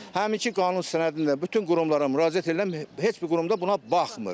Həminki qanun sənədinin də bütün qurumlara müraciət edirəm, heç bir qurumda buna baxmır.